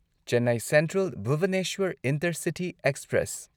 Chennai central Bhubaneswar intercity express